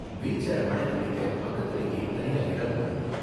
Wheel சேர மடக்கி வைக்க பக்கத்துலயே தனியா இடமும் இருக்கும்.